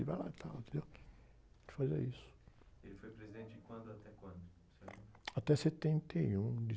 E vai lá, tal, entendeu? Ele fazia isso.le foi presidente de quando até quando?té setenta e um...